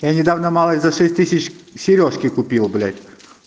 я недавно малой за шесть тысяч серёжки купил блять